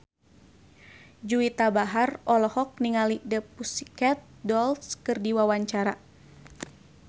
Juwita Bahar olohok ningali The Pussycat Dolls keur diwawancara